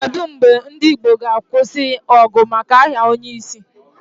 Kedu mgbe ndị Igbo ga-akwụsị ọgụ maka aha onyeisi?